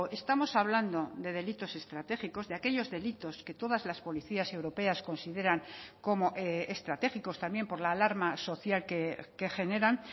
estamos hablando de delitos estratégicos de aquellos delitos que todas las policías europeas consideran como estratégicos también por la alarma social que generan